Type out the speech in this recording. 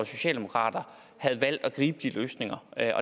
socialdemokratiet havde valgt at gribe de løsninger